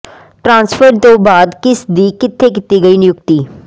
transfer ਤੋਂ ਬਾਅਦ ਕਿਸ ਦੀ ਕਿੱਥੇ ਕੀਤੀ ਗਈ ਨਿਯੁਕਤੀ